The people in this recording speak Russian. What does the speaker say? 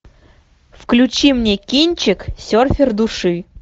включи мне кинчик серфер души